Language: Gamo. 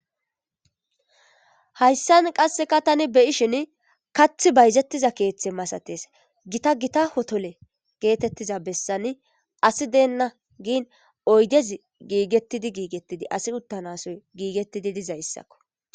hayssan qasseka tani beyishin kath bayzettiza keeththe masates gita gita hotole geetettiza bessani asi deenna giin oydezi giigettidi giigettidi asi uttanasoy giigettidi dizay issakko